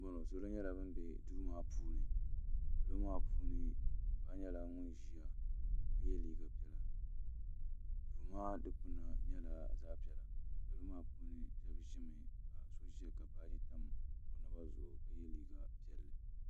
salo n bɔŋɔ salo nyɛla ban bɛ do maa ni do maa puuni paɣ' nyɛla ŋɔ ʒɛya ka yɛ liga piɛlla do maa dikpana nyɛla zaɣ' piɛla do maa puuni niriba nyɛla ban ʒɛya ka baaji tam o naba zuɣ'